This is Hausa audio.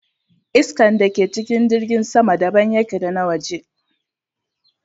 Iskan da ke cikin jirgin sama daban yake da na waje